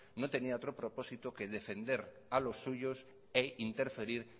no tenía otro propósito que defender a los suyos e interferir